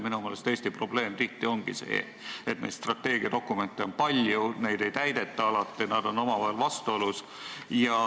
Minu meelest ongi Eesti probleem tihti see, et neid strateegiadokumente on palju, neid alati ei täideta, nad on omavahel vastuolus.